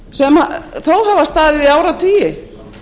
sem þó hafa staðið í áratugi